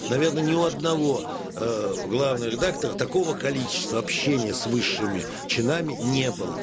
наверное ни у одного ээ главного редактора такого количества общения с высшими чинами не было